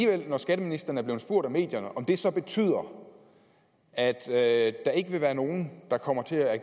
men når skatteministeren bliver spurgt af medierne om det så betyder at at der ikke vil være nogen der kommer til at